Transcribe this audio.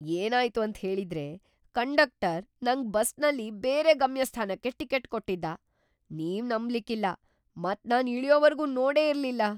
ಏನಾಯ್ತು ಅಂತ ಹೇಳಿದ್ರೆ ಕಂಡಕ್ಟರ್ ನಂಗ್ ಬಸ್ನಲ್ಲಿ ಬೇರೆ ಗಮ್ಯಸ್ಥಾನಕ್ಕೆ ಟಿಕೆಟ್ ಕೊಟ್ಟಿದ್ದ, ನೀವ್ ನಂಬ್ಲಿಕ್ ಇಲ್ಲ, ಮತ್ ನಾನ್ ಇಳಿಯೋವರ್ಗು ನೋಡೇ ಇರ್ಲಿಲ್ಲ!